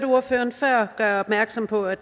ordføreren gøre opmærksom på at